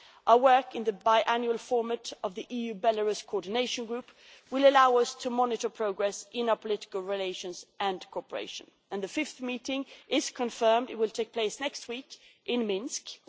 Our work in the biannual format of the EU Belarus Coordination Group will allow us to monitor progress in our political relations and cooperation, and the fifth meeting is confirmed it will take place next week in Minsk.